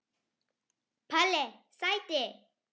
Palli sæti!!